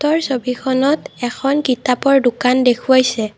ওপৰৰ ছবিখনত এখন কিতাপৰ দোকান দেখুৱাইছে।